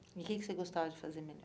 E o que que você gostava de fazer melhor?